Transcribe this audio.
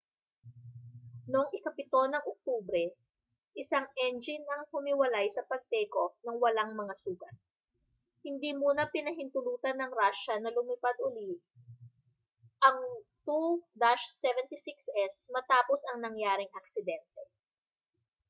noong oktubre 7 isang engine ang humiwalay sa pag takeoff ng walang mga sugat hindi muna pinahintulutan ng russia na lumipad uli ang ii-76s matapos ang nangyaring aksidente